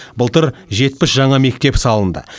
былтыр жетпіс жаңа мектеп салынды